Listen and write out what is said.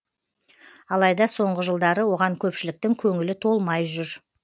алайда соңғы жылдары оған көпшіліктің көңілі толмай жүр